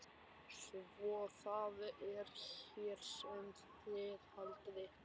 Svo það er hér sem þið haldið ykkur.